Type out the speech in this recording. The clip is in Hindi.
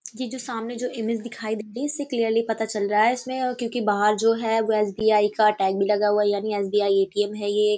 ये जो सामने जो इमेज दिखाई इससे क्लियरली पता चल रहा है इसमें क्यूंकि बाहर जो है वो एस.बी.आई. टैग भी लगा हुआ है यानि एस.बी.आई. का ए.टी.ऍम. है ये --